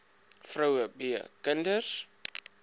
vroue b kinders